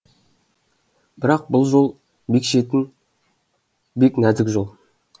бірақ бұл жол бек шетін бек нәзік жол